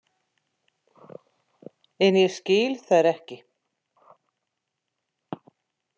En ég skil þær ekki.